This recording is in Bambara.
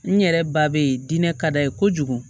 N yɛrɛ ba be yen diinɛ ka d'a ye kojugu